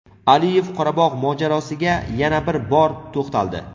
Aliyev Qorabog‘ mojarosiga yana bir bor to‘xtaldi.